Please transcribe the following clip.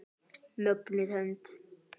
Mögnuð hönd.